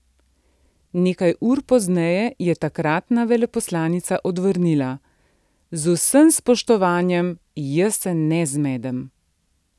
Neka ur pozneje je takratna veleposlanica odvrnila: "Z vsem spoštovanjem, jaz se ne zmedem".